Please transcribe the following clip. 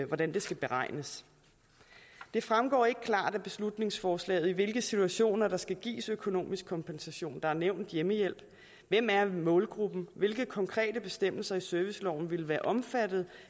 hvordan det skal beregnes det fremgår ikke klart af beslutningsforslaget i hvilke situationer der skal gives økonomisk kompensation der er nævnt hjemmehjælp hvem er målgruppen hvilke konkrete bestemmelser i serviceloven vil være omfattet